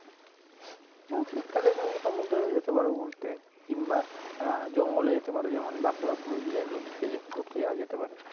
উম শীতকালে তুমি সমুদ্রে যেতে পারো ঘুরতে কিংবা আহ জঙ্গলে যেতে পারো যেমন বাঁকুড়া, পুরুলিয়া ওই দিকে ঘুরতে যাওয়া যেতে পারে